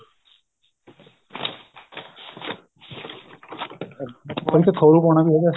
ਖੋਰੂ ਪਾਉਣਾ ਵੀ ਹੈਗਾ